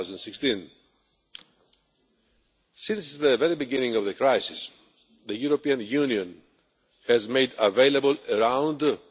2016. Since the very beginning of the crisis, the European Union has made available around EUR